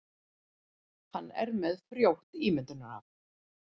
Hann er með frjótt ímyndunarafl.